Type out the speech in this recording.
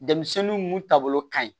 Denmisɛnninw mun ta bolo ka ɲi